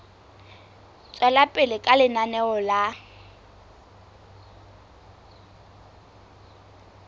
tswela pele ka lenaneo la